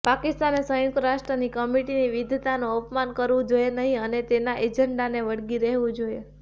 પાકિસ્તાને સંયુક્ત રાષ્ટ્રની કમિટીની વિદ્વતાનું અપમાન કરવું જોઇએ નહીં અને તેના એજન્ડાને વળગી રહેવું જોઇએ